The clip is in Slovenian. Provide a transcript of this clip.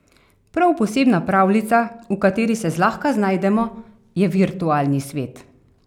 Prav posebna pravljica, v kateri se zlahka znajdemo, je virtualni svet.